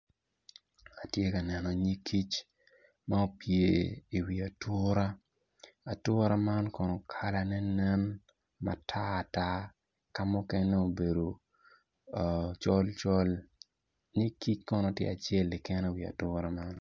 Atye ka neno nyig kic ma opye i wi ature atura man kono kala ne nen matar tar ka mukene obedo col col nyig kono tye acel keken i wi ature man.